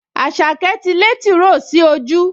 Àṣàkẹ́ ti lé tìróò sí ojú